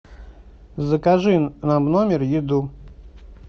закажи нам в номер еду